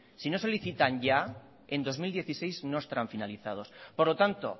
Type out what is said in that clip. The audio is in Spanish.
si no se licitan ya en dos mil dieciséis no estarán finalizados por lo tanto